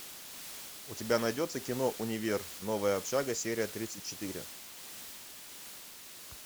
у тебя найдется кино универ новая общага серия тридцать четыре